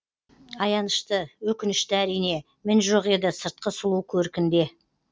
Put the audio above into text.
аянышты өкінішті әрине мін жоқ еді сыртқы сұлу көркінде